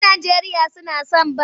Yan Najeriya suna son bal.